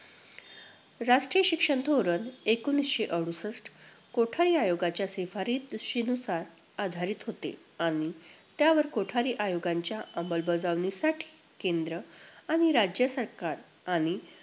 राष्ट्रीय शिक्षण धोरण एकोणवीसशे अडुसष्ठ, कोठारी आयोगाच्या शिफारीरशीनुसार आधारित होते आणि त्यावर कोठारी आयोगाच्या अंमलबजावणीसाठी केंद्र आणि राज्य सरकार आणि